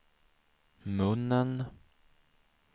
munnen